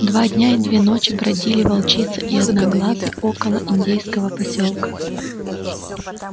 два дня и две ночи бродили волчица и одноглазый около индейского посёлка